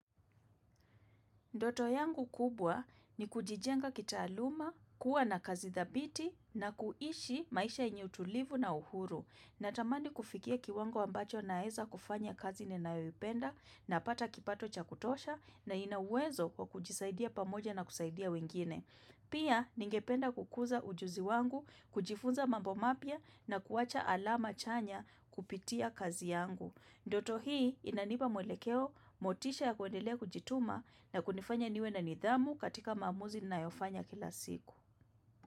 Ndoto yangu kubwa ni kujijenga kita aluma, kuwa na kazi thabiti na kuishi maisha yenye utulivu na uhuru. Natamani kufikia kiwango ambacho naeza kufanya kazi ninayoipenda na pata kipato cha kutosha na ina uwezo kwa kujisaidia pamoja na kusaidia wengine. Pia ningependa kukuza ujuzi wangu, kujifunza mambo mapya na kuacha alama chanya kupitia kazi yangu. Ndoto hii inanipa mwelekeo, motisha ya kuendelea kujituma na kunifanya niwe na nidhamu katika maamuzi nina yofanya kila siku.